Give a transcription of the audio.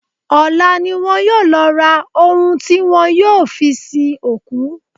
Ọ̀la ni wọn yóò lọ ra ohun tí wọ́n yóò fi sin òkú.